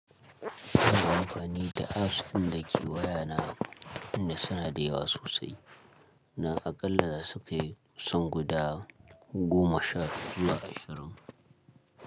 Ana amfani da apps ɗin dake wayana inda sunada yawa sosai dan aƙalla zasu kai kusan guda goma sha zuwa ashirin.